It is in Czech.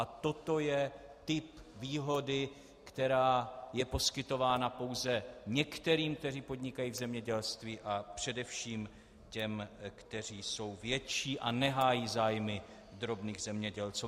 A toto je typ výhody, která je poskytována pouze některým, kteří podnikají v zemědělství, a především těm, kteří jsou větší a nehájí zájmy drobných zemědělců.